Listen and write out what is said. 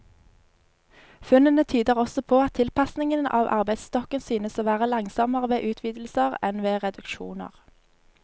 Funnene tyder også på at tilpasningen av arbeidsstokken synes å være langsommere ved utvidelser enn ved reduksjoner.